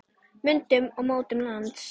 Myndun og mótun lands